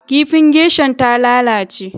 Kifin geisha'n ta lallace.